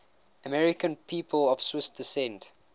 american people of swiss descent